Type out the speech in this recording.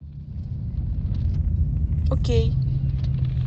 окей